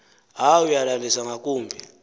hayi uyalandisa ngakumbi